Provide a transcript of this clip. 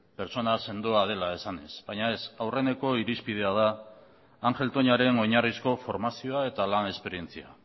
pertsona sendoa dela esanez baina ez aurreneko irizpidea da ángel toñaren oinarrizko formazioa eta lan esperientzia